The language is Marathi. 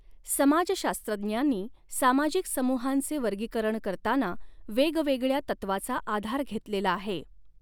समाजशास्त्रज्ञांनी सामाजिक समूहांचे वर्गीकरण करताना वेगवेगळया तत्त्वाचा आधार घेतलेला आहे.